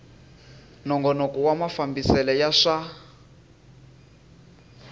nongonoko wa mafambisele ya swa